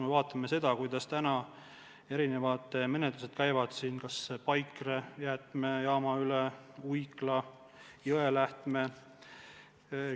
Vaatame kas või seda, kuidas täna käivad erinevad menetlused seoses Paikre jäätmejaamaga, samuti Uikla ja Jõelähtmega.